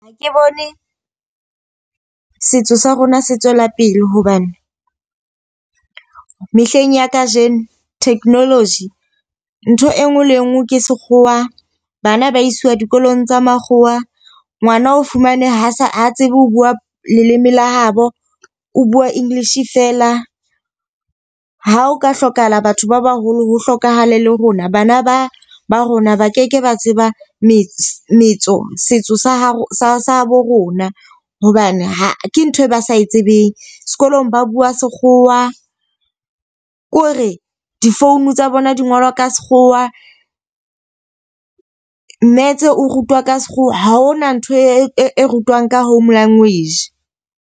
Ha ke bone setso sa rona se tswela pele hobane, mehleng ya kajeno technology ntho e nngwe le e nngwe ke sekgowa. Bana ba isiwa dikolong tsa makgowa. Ngwana o fumane ha se a tsebe ho bua leleme la habo, o bua English fela. Ha o ka hlokahala batho ba baholo ho hlokahala le rona, bana ba ba rona ba keke ba tseba metsi metso setso sa hao sa habo rona. Hobane ke ntho e ba sa e tsebeng. Sekolong ba bua sekgowa ko re di-phone tsa bona di ngolwa ka sekgowa. Metse o rutwa ka sekgowa, ha hona ntho e rutwang ka home language.